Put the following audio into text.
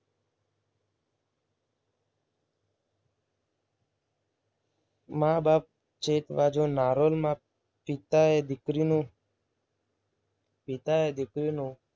મા બાપ છેતવજો. નારોલમાં પિતાએ દીકરીનું પિતાએ દીકરીનું